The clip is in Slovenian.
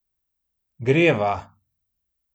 Greva!